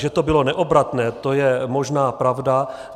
Že to bylo neobratné, to je možná pravda.